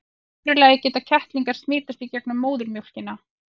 í öðru lagi geta kettlingar smitast í gegnum móðurmjólkina